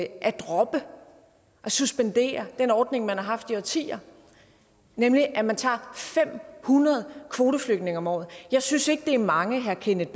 at droppe suspendere den ordning man har haft i årtier nemlig at man tager fem hundrede kvoteflygtninge om året jeg synes ikke det er mange herre kenneth